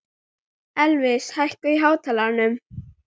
Elvis, hækkaðu í hátalaranum.